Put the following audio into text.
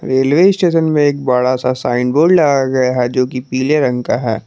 Railway station में एक बड़ा सा साइन बोर्ड लगाया गया है जो कि पीले रंग का है।